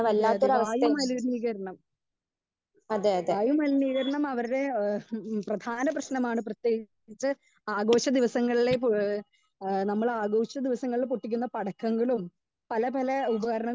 Speaker 2 അതെ അതെ വായു മലിനീകരണം വായു മാലിനികരണം അവരുടെ ഏ പ്രധാന പ്രേശ്നമാണ്. ആഘോഷ ദിവസങ്ങളിലെ നമ്മൾ ആഘോഷ ദിവസങ്ങളിൽ പൊട്ടിക്കുന്ന പടക്കങ്ങളും പല പല ഉപകരണങ്ങൾ .